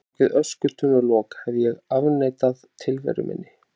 Bak við öskutunnulok hef ég afneitað tilveru minni.